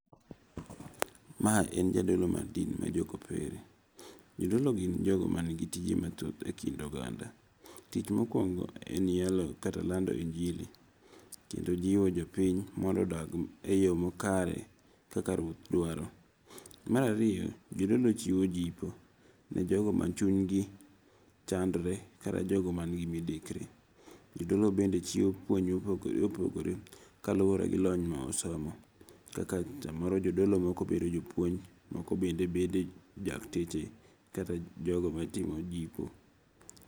Mae en jadolo mar din mar jokopere. Jodolo gin jogo man gi tije mathoth e kind oganda. Tich mokuongo en yalo kata lando injili. Kendo jiwo jopiny mondo odag eyo makare kaka ruoth dwaro. Mar ariyo, jodolo chiwo jipo ne jogo machuny gi chandre kata jogo man gi midekre. Jodolo bende chiwo puonj mopogore opogore kaluwore gi lony ma osomo. Kaka samoro jodolo moko bedo jopuonj moko bende bedo dakteche kata jogo matimo jipo.